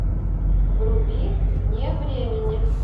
вруби вне времени